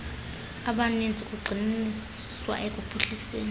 abaninzi kugxininiswa ekuphuhliseni